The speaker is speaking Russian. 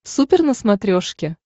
супер на смотрешке